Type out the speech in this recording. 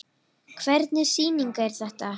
Hvernig sýning er þetta?